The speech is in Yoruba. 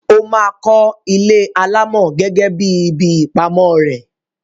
Ó máa kọ́ ilé alámọ̀ gẹ́gẹ́ bí ibi ìpamọ́ rẹ̀.